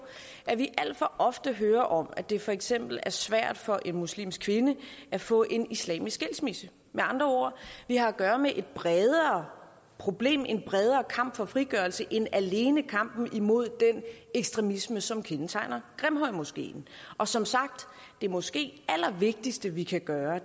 at vi alt for ofte hører om at det for eksempel er svært for en muslimsk kvinde at få en islamisk skilsmisse med andre ord vi har at gøre med et bredere problem en bredere kamp for frigørelse end alene kampen imod den ekstremisme som kendetegner grimhøjmoskeen og som sagt er måske det allervigtigste vi kan gøre